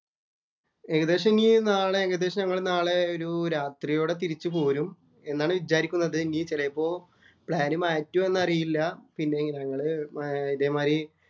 ഏകദേശം ഇനി നാളെ ഏകദേശം നാളെ ഒരു രാത്രിയോടെ തിരിച്ച് പോരും എന്നാണ് വിചാരിക്കുന്നത്. ഇനി ചെലപ്പോ പ്ലാന്‍ മാറ്റുമോ എന്നറിയില്ല. പിന്നെ ഞങ്ങള് ഇതേ മാതിരി